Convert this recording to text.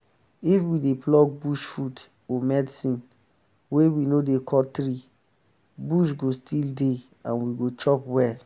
if we dey pluck bush food or medicine wey we no dey cut tree bush go still dey and we go chop well.